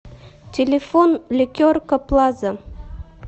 телефон ликерка плаза